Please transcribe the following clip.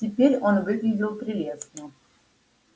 теперь он выглядел прелестно